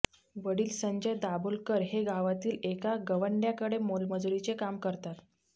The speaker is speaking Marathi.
वडील संजय दाभोलकर हे गावातील एका गवंडय़ाकडे मोलमजुरीचे काम करतात